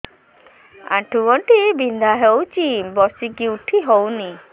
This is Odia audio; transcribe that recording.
ଆଣ୍ଠୁ ଗଣ୍ଠି ବିନ୍ଧା ହଉଚି ବସିକି ଉଠି ହଉନି